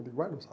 Ele guarda o